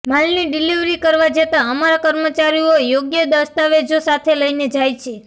માલની ડિલિવરી કરવા જતાં અમારા કર્મચારીઓ યોગ્ય દસ્તાવેજો સાથે લઈને જાય છે